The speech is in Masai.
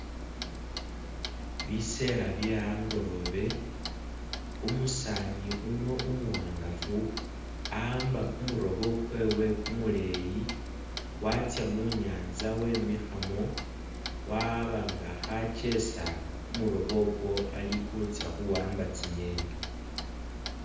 Biseela bye angolobe, umusani uno umuwangafu awamba kumulobo kwewe kumuleyi watsa munyanza wemikhamo waaba nga akhakesa kumuloobo okwo ali khutsa khuwamba tsi'ngeni.